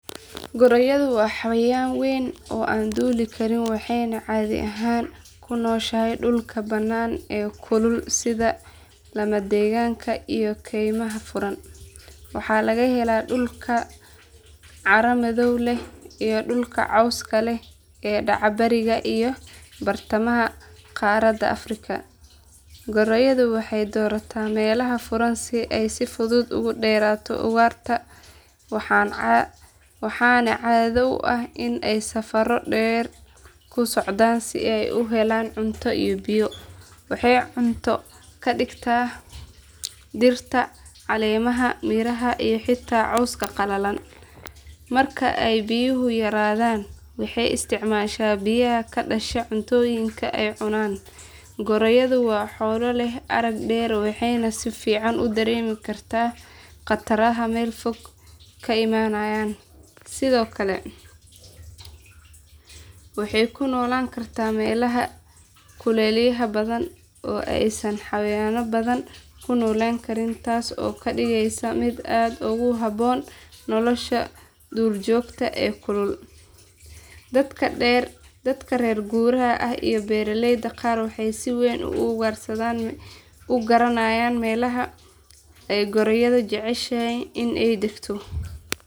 Goraydu waa xayawaan weyn oo aan duuli karin waxayna caadi ahaan ku nooshahay dhulka bannaan ee kulul sida lamadegaanka iyo keymaha furan. Waxaa laga helaa dhulalka carro madow leh iyo dhulka cawska leh ee dhaca bariga iyo bartamaha qaaradda afrika. Goraydu waxay doorataa meelaha furan si ay si fudud uga dheeraato ugaarta waxaana caado u ah in ay safaro dheer ku socdaan si ay u helaan cunto iyo biyo. Waxay cunto ka dhigataa dhirta, caleemaha, miraha iyo xitaa cawska qalalan. Marka ay biyuhu yaraadaan waxay isticmaashaa biyaha ka dhasha cuntooyinka ay cunaan. Goraydu waa xoolo leh arag dheer waxayna si fiican u dareemi kartaa khataraha meel fog ka imaanaya. Sidoo kale waxay ku noolaan kartaa meelaha kulaylaha badan oo aysan xayawaanno badan ku noolaan karin taas oo ka dhigaysa mid aad ugu habboon nolosha duurjoogta ee kulul. Dadka reer guuraaga ah iyo beeraleyda qaar waxay si weyn u garanayaan meelaha ay goraydu jeceshahay in ay degto.